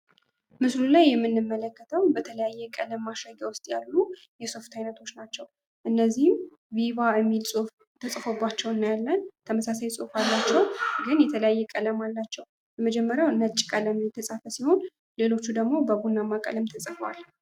ምስሉ ላይ የምንመለከተው በተለያየ ቀለም ማሸጊያ ውስጥ ያሉ የሶፍት አይነቶች ናቸው እነዚህም ቪቫ የሚል ፅሁፍ ተፅፎባቸው እናያለን ተመሳሳይ ፅሁፍ አላቸው ግን የተለያየ ቀለም አላቸው የመጀመሪያው በነጭ ቀለም የተፃፈ ሲሆን ሌሎች ደግሞ በቡናማ ቀለም ተፅፈዋል።